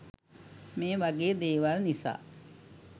මේ වගේ දේවල් නිසා